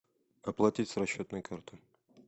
оплатить с расчетной карты